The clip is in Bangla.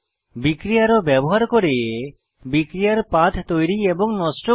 বিক্রিয়া অ্যারো ব্যবহার করে বিক্রিয়ার পাথ তৈরী এবং নষ্ট করা